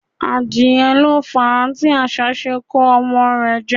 Adìẹ lo fàá tí asá se n ko ọmọ rẹ̀ jẹ́